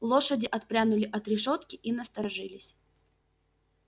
лошади отпрянули от решётки и насторожились